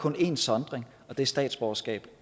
én sondring og det er statsborgerskab